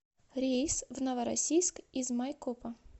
рейс в новороссийск из майкопа